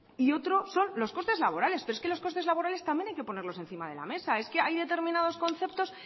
y otro son los costes laborales pero es que los costes laborales también hay que ponerlos encima de la mesa es que hay determinados concepto